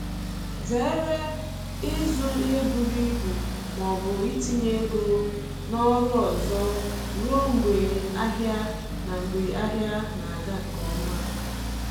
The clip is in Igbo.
Zere ịzụ ihe buru ibu ma ọbụ itinye ego na oru ọzọ ruo mgbe ahịa na mgbe ahịa na aga nke ọma